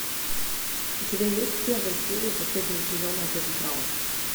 у тебя есть первая серия последнего сезона отец браун